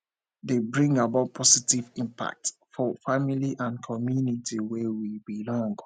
dey bring about positive impact for family and community wey we belong